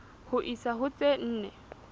ho isa ho tse nne